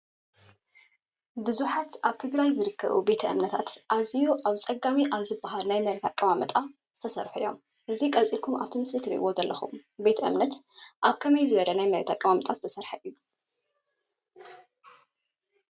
ብዙሓት ኣብ ትግራይ ዝርከቡ ቤተ እምነታት ኣዝዩ ኣብ ኣፀጋሚ ኣብ ዝበሃል ናይ መሬት ኣቀማምጣ ዝተሰርሑ እዮም። እዚ ቀፂልኩም ኣብዚ ምስሊ ትርእይዎ ዘለኹም ቤተ እምነት ኣብ ከመይ ዝበለ ናይ መሬት ኣቀማምጣ ዝተሰረሐ እዩ?